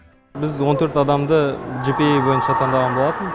біз он төрт адамды жпэй бойынша таңдаған болатын